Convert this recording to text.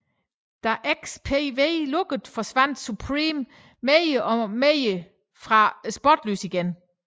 Da XPW lukkede forsvandt Supreme mere eller mindre fra spotlyset igen